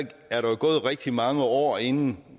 er der jo gået rigtig mange år inden